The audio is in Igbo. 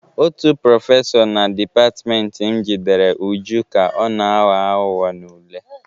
Otu prọfesọ na dịpatịmentị m jidere Uju ka ọ na-aghọ aghụghọ n'ule.